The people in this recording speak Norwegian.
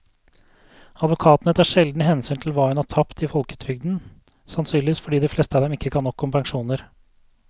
Advokatene tar sjelden hensyn til hva hun har tapt i folketrygden, sannsynligvis fordi de fleste av dem ikke kan nok om pensjoner.